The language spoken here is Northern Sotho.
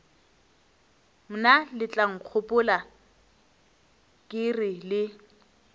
mna letlankgopola ke re le